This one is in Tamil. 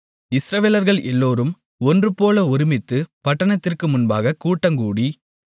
இஸ்ரவேலர்கள் எல்லோரும் ஒன்றுபோல ஒருமித்து பட்டணத்திற்கு முன்பாகக் கூட்டங்கூடி